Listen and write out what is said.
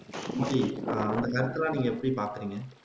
கமலி அந்த மேட்டர் எல்லாம் நீங்க எப்படி பாக்குறீங்க